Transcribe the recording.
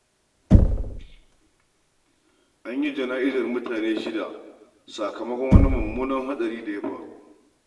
An yi jana'izar mutane shida sakamokon wani mummunan hatsari da ya faru.